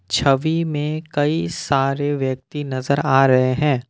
छवि मे कई सारे व्यक्ति नजर आ रहे हैं।